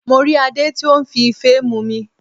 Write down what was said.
Mo rí Adé tí ó n fi Ife mumi